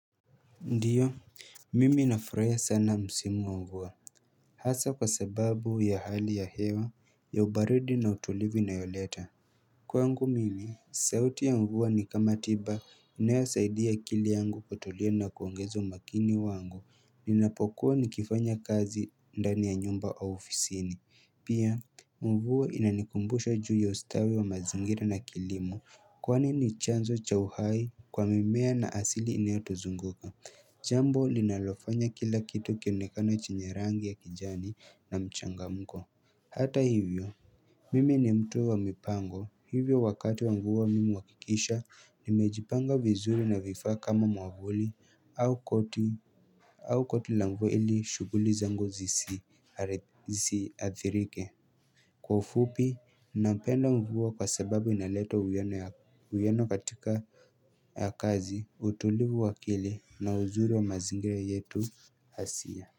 Ndiyo, mimi nafurahia sana msimu wa mvua Hasa kwa sababu ya hali ya hewa, ya ubaridi na utulivu ina yoleta Kwa ngu mimi, sauti ya mvua ni kama tiba inayosaidia akili yangu kutulia na kuongeza umakini wangu Ninapokuwa nikifanya kazi ndani ya nyumba wa ofisini Pia, mvua inanikumbusha juu ya ustawi wa mazingira na kilimo Kwani ni chanzo cha uhai kwa mimea na asili inayotuzunguka Jambo linalofanya kila kitu kionekana chenye rangi ya kijani na mchanga mko Hata hivyo Mimi ni mtu wa mipango Hivyo wakati wa mvua mimi huakikisha Nimejipanga vizuri na vifaa kama mwavuli au koti au koti la mvua ili shuguli za ngu zisi Zisi athirike Kwa ufupi Napenda mvua kwa sababu inaleta uwiano katika ya kazi utulivu wa akili na huzuri wa mazingira yetu hasia.